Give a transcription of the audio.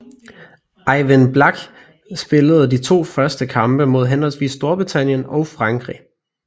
Ejvind Blach spillede de to første kampe mod henholdsvis Storbritannien og Frankrig